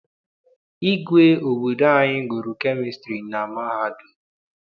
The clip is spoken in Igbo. Igwe obodo anyị gụrụ kemịstri na mahadum.